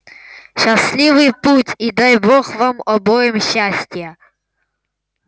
счастливый путь и дай бог вам обоим счастья